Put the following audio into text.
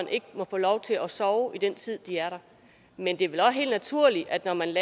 ikke må få lov til at sove i den tid de er der men det er vel også helt naturligt at når man